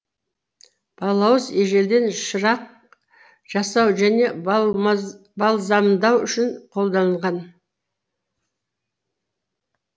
балауыз ежелден шырақ жасау және бальзамдау үшін қолданылған